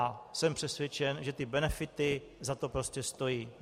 A jsem přesvědčen, že ty benefity za to prostě stojí.